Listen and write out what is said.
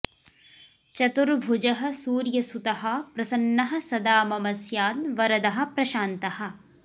चतुर्भुजः सूर्यसुतः प्रसन्नः सदा मम स्याद् वरदः प्रशान्तः